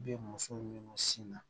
Bɛ muso minnu sin na